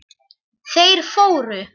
Þeir fóru.